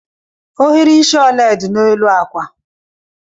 Ohiri isi ole dị n'elu akwa?